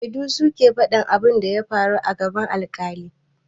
Shedu su ke faɗan abin da ya faru a gaban alƙali.